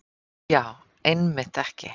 Já, einmitt ekki.